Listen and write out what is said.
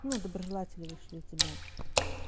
ну доброжелателей вышлю и тебя